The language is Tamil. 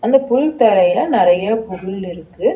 இந்த புல் தரையில நெறைய புல் இருக்கு.